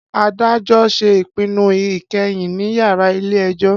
Adajọ ṣe ipinnu ikẹhin ni yárà ile-ẹjọ.